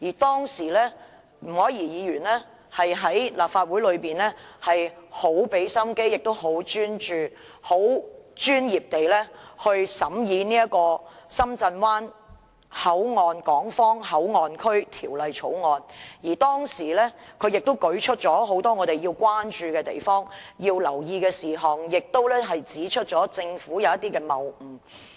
當時前議員吳靄儀在立法會花了很多心機，專注而專業地審議《深圳灣口岸港方口岸區條例草案》，舉出了很多應關注及留意的事項，並指出了政府的一些謬誤。